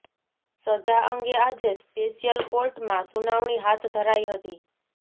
સજા અંગે આજે સ્પેશિયલ કોર્ટમાં સુનાવણી હાથ ધરાઈ હતી